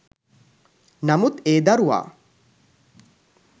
නමුත් ඒ දරුවා